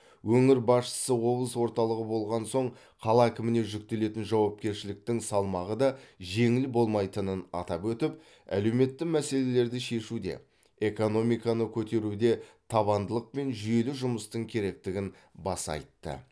өңір басшысы облыс орталығы болған соң қала әкіміне жүктелетін жауапкершіліктің салмағы да жеңіл болмайтынын атап өтіп әлеуметті мәселелерді шешуде экономиканы көтеруде табандылық пен жүйелі жұмыстың керектігін баса айтты